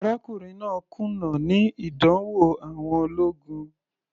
Arákùnrin náà kùnà níní ìdánwò àwọn ológun.